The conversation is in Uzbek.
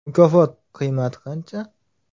Mukofot qiymati qancha ?